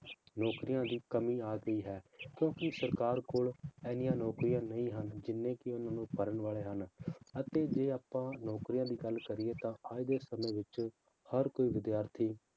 ਨੌਕਰੀਆਂ ਦੀ ਕਮੀ ਆ ਗਈ ਹੈ ਕਿਉਂਕਿ ਸਰਕਾਰ ਕੋਲ ਇੰਨੀਆਂ ਨੌਕਰੀਆਂ ਨਹੀਂ ਹਨ, ਜਿੰਨੇ ਕਿ ਉਹਨਾਂ ਨੂੰ ਭਰਨ ਵਾਲੇ ਹਨ, ਅਤੇ ਜੇ ਆਪਾਂ ਨੌਕਰੀਆਂ ਦੀ ਗੱਲ ਕਰੀਏ ਤਾਂ ਅੱਜ ਦੇ ਸਮੇਂ ਵਿੱਚ ਹਰ ਕੋਈ ਵਿਦਿਆਰਥੀ